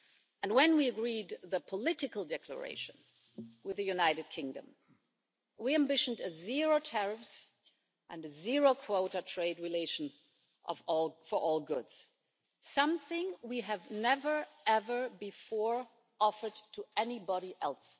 And when we agreed the Political Declaration with the United Kingdom, we ambitioned zero tariffs and a zero quota trade relation for all goods something we have never ever before offered to anybody else.